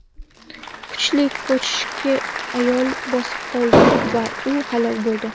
Kuchli ko‘chki ayolni bosib qoldi va u halok bo‘ldi.